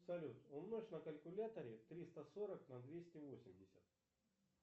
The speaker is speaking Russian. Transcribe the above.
салют умножь на калькуляторе триста сорок на двести восемьдесят